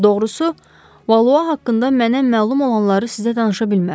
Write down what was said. Doğrusu, Valua haqqında mənə məlum olanları sizə danışa bilmərəm.